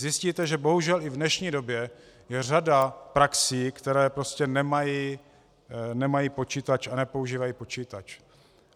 Zjistíte, že bohužel i v dnešní době je řada praxí, které prostě nemají počítač a nepoužívají počítač.